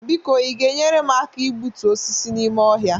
biko Ị ga-enyere m aka igbutu osisi n'ime ọhịa?